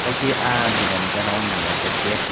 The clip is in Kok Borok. enkke ahh dukan ni gaana o naanglaijak gate.